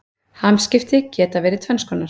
Hamskipti geta verið tvenns konar.